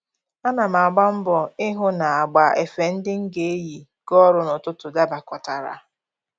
Ana m agba mbọ ịhụ na agba efe ndị m ga-eyi gaa ọrụ n'ụtụtụ dabakọtara